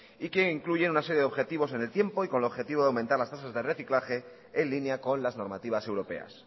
y que incluye una serie de objetivos en el tiempo y con el objetivo de aumentar las tasas de reciclaje en línea con las normativas europeas